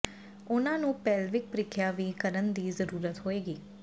ਉਨ੍ਹਾਂ ਨੂੰ ਪੇਲਵਿਕ ਪ੍ਰੀਖਿਆ ਵੀ ਕਰਨ ਦੀ ਜ਼ਰੂਰਤ ਹੋਏਗੀ